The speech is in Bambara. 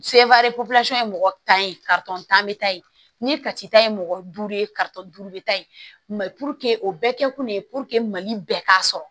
ye mɔgɔ tan ye tan bɛ taa yen ni kati ta ye mɔgɔ duuru ye duuru bɛ ta ye o bɛɛ kɛ kun ye mali bɛɛ k'a sɔrɔ